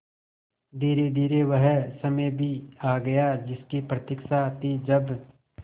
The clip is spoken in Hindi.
धीरेधीरे वह समय भी आ गया जिसकी प्रतिक्षा थी जब